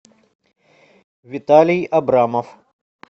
виталий абрамов